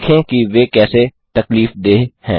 देखें कि वे कैसे तकलीफदेह हैं